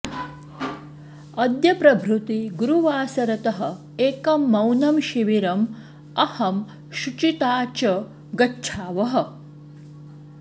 अद्य प्रभृति गुरुवासरतः एकं मौनं शिविरम् अहं शुचिता च गच्छावः